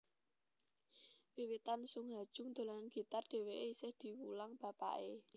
Wiwitan Sung Ha Jung dolanan gitar dhèwèké isih diwulang bapaké